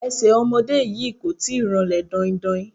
Ẹsẹ̀ ọmọdé yìí kò tíì ranlẹ̀ daindain